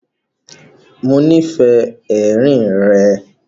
Mọ nífẹ́ èrín rẹ̀.